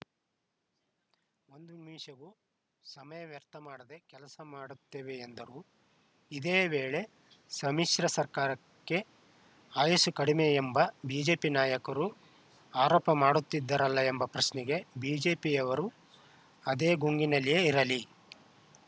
ಒಂದು ನಿಮಿಷವೂ ಸಮಯ ವ್ಯರ್ಥ ಮಾಡದೆ ಕೆಲಸ ಮಾಡುತ್ತೇವೆ ಎಂದರು ಇದೇ ವೇಳೆ ಸಮ್ಮಿಶ್ರ ಸರ್ಕಾರಕ್ಕೆ ಆಯಸ್ಸು ಕಡಿಮೆ ಎಂಬ ಬಿಜೆಪಿ ನಾಯಕರು ಆರೋಪ ಮಾಡುತ್ತಿದ್ದರಲ್ಲ ಎಂಬ ಪ್ರಶ್ನೆಗೆ ಬಿಜೆಪಿಯವರು ಅದೇ ಗುಂಗಿನಲ್ಲಿಯೇ ಇರಲಿ